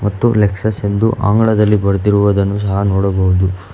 ಮತ್ತು ಲೆಕ್ಸಸ್ ಎಂದು ಆಂಗ್ಲದಲ್ಲಿ ಬರೆದಿರುವುದನ್ನು ಸಹ ನೋಡಬಹುದು.